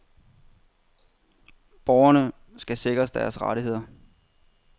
Borgerne skal sikres deres rettigheder.